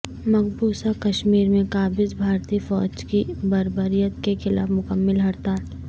مقبوضہ کشمیر میں قابض بھارتی فوج کی بربریت کے خلاف مکمل ہڑتال